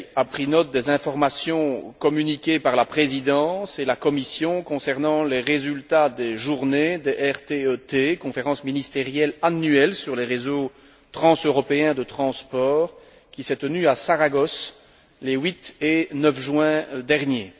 pris note des informations communiquées par la Présidence et la Commission concernant les résultats des journées du RTE T, conférence ministérielle annuelle sur le réseau transeuropéen de transport, qui s'est tenue à Saragosse, les 8 et 9 juin dernier.